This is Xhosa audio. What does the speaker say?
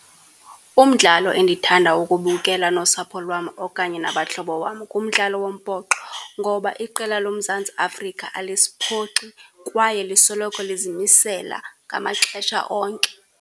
Umdlalo endithanda ukubukela nosapho lwam okanye nabahlobo wam ngumdlalo wombhoxo, ngoba iqela loMzantsi Afrika alisiphoxi kwaye lisoloko lizimisela ngamaxesha onke.